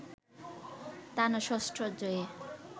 টানা ষষ্ঠ জয়ে